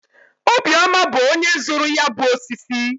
Obiọma bụ onye zụrụ ya bụ osisi